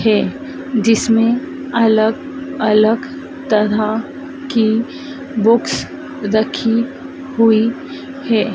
है जिसमें अलग अलग तरह की बुक्स रखी हुई है।